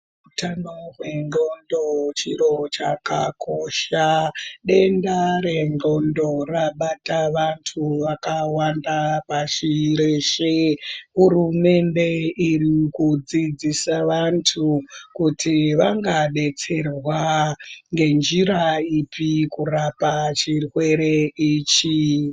Utano hwendxondo chiro chakakosha denda rendxondo rabata vantu vakawanda pashi reshe. Hurumende iri kudzidzisa vantu kuti vangabetserwa ngenjira ipi kurapa chirwere ichi.